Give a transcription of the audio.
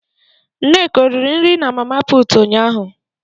Nneka o riri nri na Mama Putu unyaahụ.